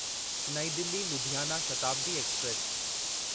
New Delhi Ludhiana Shatabdi express